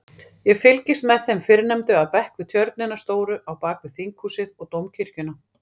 Ég fylgist með þeim fyrrnefndu af bekk við tjörnina stóru á bakvið Þinghúsið og Dómkirkjuna.